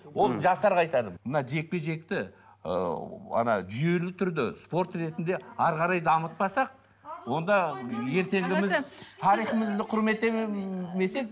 ол жастарға айтарым мына жекпе жекті ы ана жүйелі түрде спорт ретінде әрі қарай дамытпасақ онда ертеңіміз тарихимызды құрметтемесек